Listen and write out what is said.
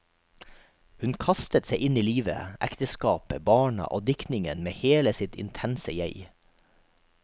Hun kastet seg inn i livet, ekteskapet, barna og diktningen med hele sitt intense jeg.